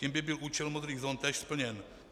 Tím by byl účel modrých zón též splněn.